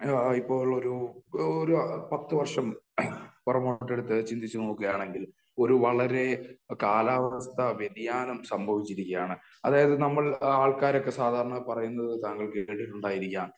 ഇപ്പോൾ ഒരു ഒരു പത്ത് വർഷം പുറകോട്ട് എടുത്ത് ചിന്തിച്ച് നോക്കുകയാണെങ്കിൽ ഒരു വളരെ കാലാവസ്ഥാ വ്യതിയാനം സംഭവിച്ചിരിക്കുകയാണ്. അതായത് നമ്മൾ ആൾക്കാരൊക്കെ സാധാരണ പറയുന്നത് താങ്കൾ കെട്ടിട്ടുണ്ടായിരിക്കാം